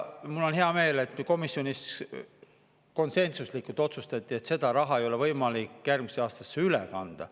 Mul on hea meel, et komisjonis konsensuslikult otsustati, et seda raha ei ole võimalik järgmisse aastasse üle kanda.